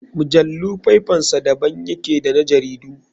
Mujallu faifansa da ban yake da na jaridu.